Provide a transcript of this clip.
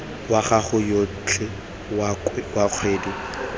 wa gago otlhe wa kgwedi